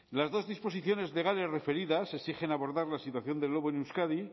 las dos disposiciones legales referidas exigen abordar la situación del lobo en euskadi